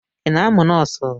Ị na-amụ nọọsụ?